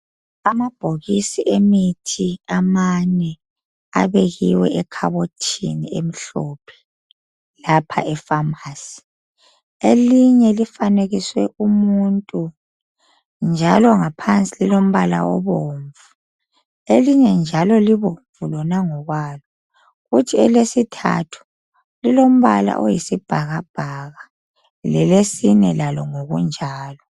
Amabhokisi emithi amane abekiwe ekhabothini emhlophe, lapha epharmacy. Elinye lifanekiswe umuntu, njalo ngaphansi lilombala obomvu. Elinye njalo libomvu lona ngokwalo. Kuthi elesithathu, lilombala oyisibhakabhaka. Lelesine lalo, ngokunjalo.